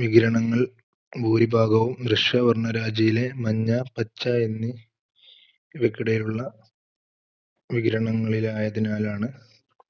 വികിരണങ്ങൾ ഭൂരിഭാഗവും ദൃശ്യ വർണ്ണരാജിയിലെ മഞ്ഞ, പച്ച എന്നി~വികിടെയുള്ള വികിരണങ്ങളിൽ ആയതിനാലാണ്